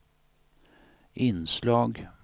inslag